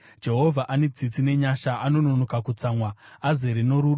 Jehovha ane tsitsi nenyasha, anononoka kutsamwa, azere norudo.